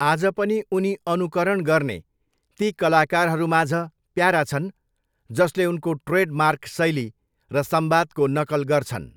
आज पनि उनी अनुकरण गर्ने ती कलाकारहरूमाझ प्यारा छन् जसले उनको ट्रेडमार्क शैली र संवादको नकल गर्छन्।